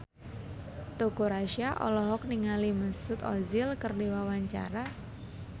Teuku Rassya olohok ningali Mesut Ozil keur diwawancara